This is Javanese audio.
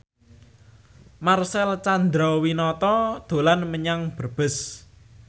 Marcel Chandrawinata dolan menyang Brebes